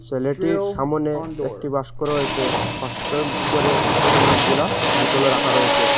সেলেটির সামনে একটি বাস্ক রয়েসে বাস্কর উপরে অনেকগুলা বোতল রাখা রয়েসে।